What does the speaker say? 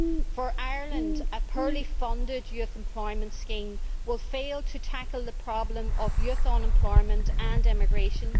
For Ireland, a poorly funded youth employment scheme will fail to tackle the problem of youth unemployment and immigration.